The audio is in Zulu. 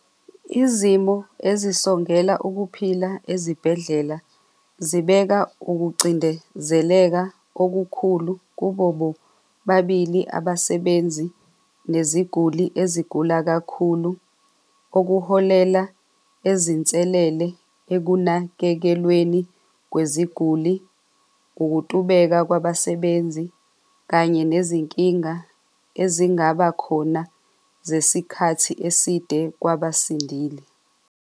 Izimo ezisongela ukuphila ezibhedlela zibeka ukucindezeleka okukhulu kubo bobabili abasebenzi neziguli ezigula kakhulu, okuholela ezinselele ekunakekelweni kweziguli, ukutubeka kwabasebenzi kanye nezinkinga ezingaba khona zesikhathi eside kwabasindile.